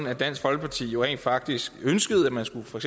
at dansk folkeparti rent faktisk ønskede at man for